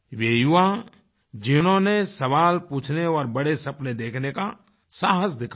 वे युवा जिन्होंने सवाल पूछने और बड़े सपने देखने का साहस दिखाया